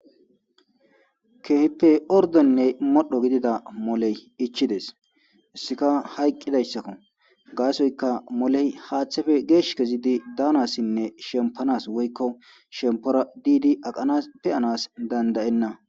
Kehippe ordonne modho gidida moley ichides isseka hayqqidayssakko gaasoyka moley haaththefe geesh kezidi daanassinne shempanas woykko shempora diidi aqanas peyanas dandayenna.